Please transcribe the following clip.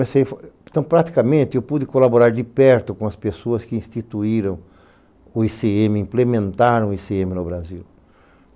Então, praticamente, eu pude colaborar de perto com as pessoas que instituíram o i cê eme, implementaram o i cê eme no Brasil.